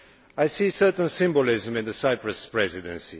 I see a certain symbolism in the Cyprus Presidency.